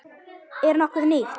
Er nokkuð nýtt?